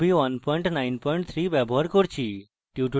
ruby 193 ব্যবহার করছি